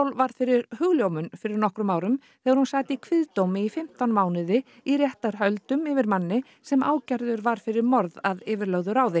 varð fyrir hugljómun fyrir nokkrum árum þegar hún sat í kviðdómi í fimmtán mánuði í réttarhöldum yfir manni sem ákærður var fyrir morð að yfirlögðu ráði